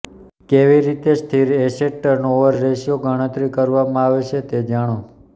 કેવી રીતે સ્થિર એસેટ ટર્નઓવર રેશિયો ગણતરી કરવામાં આવે છે તે જાણો